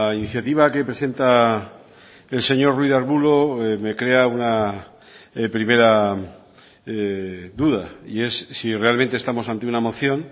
iniciativa que presenta el señor ruiz de arbulo me crea una primera duda y es si realmente estamos ante una moción